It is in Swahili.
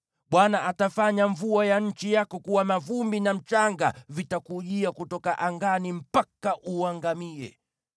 Bwana atafanya mvua ya nchi yako kuwa mavumbi na mchanga; vitakujia kutoka angani mpaka uangamie.